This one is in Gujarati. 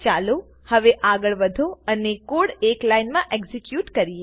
ચાલો હવે આગળ વધો અને કોડના એક લાઇનમાં એક્ઝેક્યુટ કરીએ